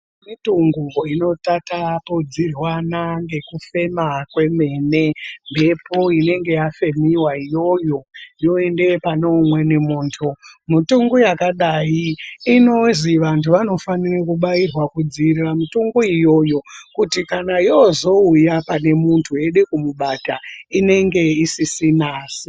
Mitungu inotatapudzirwana ngekufema kwemene, mbepo inenge yafemiwa iyoyo, yoenda pane umweni muntu. Mitungu yakadayi, inozwi vantu vanofanira kubayirwa kudziyirira mitungu iyoyo ,kuti kana yozouya pane muntu yeida kumubata ,inenge isisina simba.